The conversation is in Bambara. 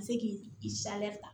Ka se k'i i ta